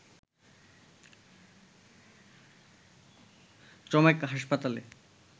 চমেক হাসপাতালে